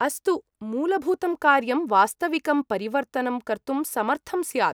अस्तु, मूलभूतं कार्यं वास्तविकं परिवर्तनं कर्तुं समर्थं स्यात्।